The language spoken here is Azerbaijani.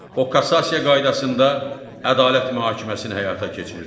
O kassasiya qaydasında ədalət mühakiməsini həyata keçirir.